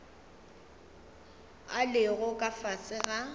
a lego ka fase ga